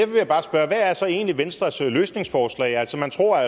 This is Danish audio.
vil jeg bare spørge hvad er så egentlig venstres løsningsforslag altså man tror at